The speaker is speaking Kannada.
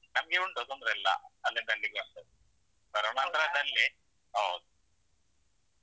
ನಮ್ಗೆ ಉಂಟು ತೊಂದ್ರೆ ಇಲ್ಲ ಅಲ್ಲಿಂದಲ್ಲಿಗೆ ಆಗ್ತದೆ. ಕರೋನ ನಂತರದಲ್ಲಿ ಹೌದು